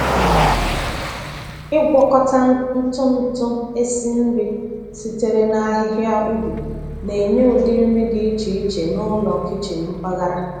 Ịgwakọta ntụ ntụ esi nri sitere n’ahịhịa ubi na-enye ụdị nri dị iche iche n’ụlọ kichin mpaghara.